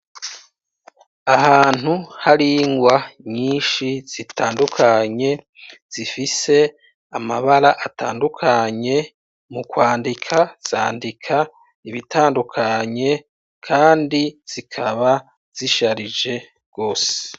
Ahantu hari ingwa nyinshi zitandukanye, zifise amabara atandukanye mu kwandika zandika ibitandukanye, kandi zikaba zisharije gose.